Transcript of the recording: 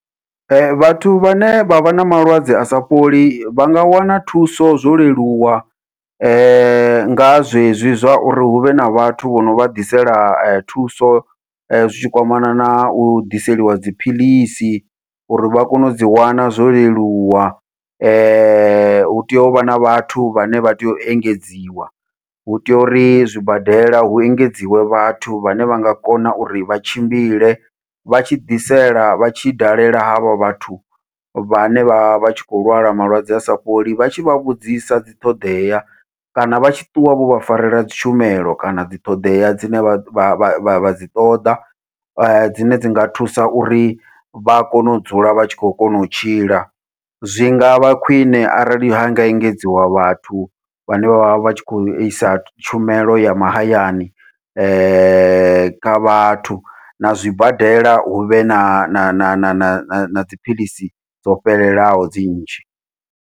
Vhathu vhane vha vha na malwadze a sa fholi vha nga wana thuso zwo leluwa, nga zwezwi zwa uri huvhe na vhathu vho no vha ḓisela thuso zwitshi kwamana na u ḓiseliwa dziphiḽisi, uri vha kone u dzi wana zwo leluwa hu tea uvha na vhathu vhane vha tea u engedziwa hu tea uri zwibadela hu engedziwe vhathu vhane vha nga kona uri vha tshimbile vha tshi ḓisela vha tshi dalela havha vhathu, vhane vha vha tshi khou lwala malwadze a sa fholi vha tshi vha vhudzisa dziṱhoḓea kana vha tshi ṱuwa vho vha farela dzitshumelo kana dzi ṱhoḓea dzine vha dzi ṱoḓa dzine dzi nga thusa uri vha kone u dzula vha tshi khou kona u tshila. Zwi nga vha khwiṋe arali ha nga engedziwa vhathu vhane vha vha vhatshi khou isa tshumelo ya mahayani kha vhathu na zwibadela huvhe na na na na na na dziphilisi dzo fhelelaho dzi nnzhi.